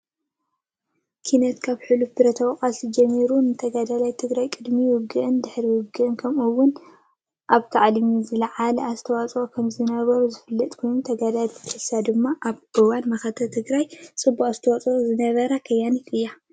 ኪነት ካብ ሑሉፍ ብረታዊ ቃልሲ ጀሚርካ ንተጋደላይ ትግራይ ቅድሚ ውግእን ድሕሪ ውግእን ከምኡ እውን ኣብታዕሊም ዝለዓለ ኣስተዋፅ ኦ ከምዝነበሮ ዝፍለጥ ኮይኑ ተጋዳሊት ኤልሳ ድማ ኣብ እዋን መኸተ ትግራይ ፅቡቅ ኣስተዋፅ ኦ ዝነበራ ከያኒት እያ::